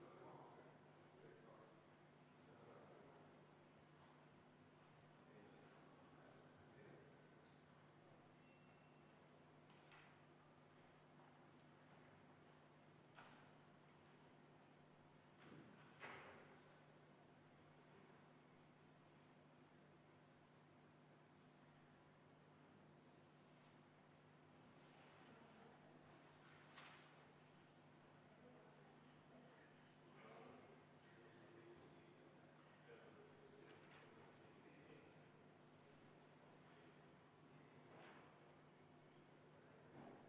Liigume edasi 34. muudatusettepaneku juurde, selle on esitanud EKRE fraktsioon.